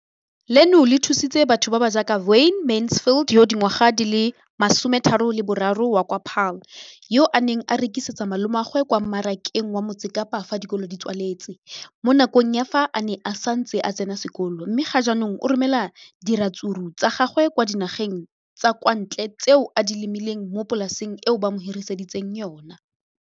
leno le thusitse batho ba ba jaaka Wayne Mansfield, 33, wa kwa Paarl, yo a neng a rekisetsa malomagwe kwa Marakeng wa Motsekapa fa dikolo di tswaletse, mo nakong ya fa a ne a santse a tsena sekolo, mme ga jaanong o romela diratsuru tsa gagwe kwa dinageng tsa kwa ntle tseo a di lemileng mo polaseng eo ba mo hiriseditseng yona.